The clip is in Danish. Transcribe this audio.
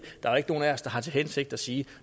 der er nogen af os der har til hensigt at sige